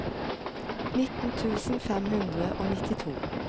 nitten tusen fem hundre og nittito